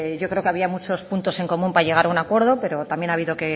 yo creo que había muchos puntos en común para llegar a un acuerdo pero también ha habido